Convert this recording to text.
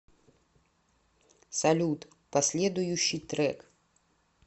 салют последующий трек